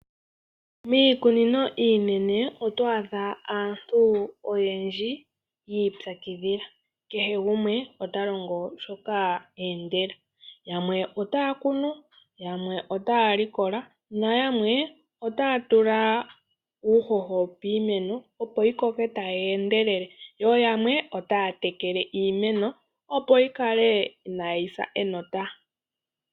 Muikunino iinene oto adha aantu oyendji yiipyakidhila kehe gumwe otalongo shoka eendela. Yamwe otaya kunu, yamwe otaya likola nayamwe otaya tula uuhoho piimeno opo yikoke tayi endelele, yo yamwe otaya tekele iimeno opo yikale inaayi sa enota.